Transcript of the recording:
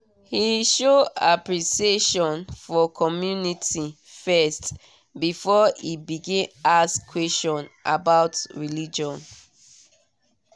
he show appreciation for community first before e begin ask question about religion